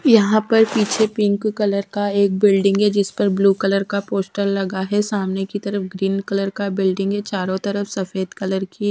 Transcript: यहां पर पीछे पिंक कलर का एक बिल्डिंग है जिस पर ब्लू कलर का पोस्टर लगा है सामने की तरफ ग्रीन कलर का बिल्डिंग है चारों तरफ सफेद कलर की।